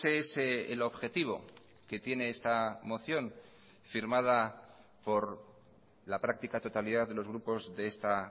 es el objetivo que tiene esta moción firmada por la práctica totalidad de los grupos de esta